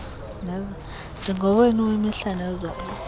ndingowenu wemihla nezolo